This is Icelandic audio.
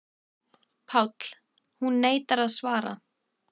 PÁLL: Hún neitar að svara.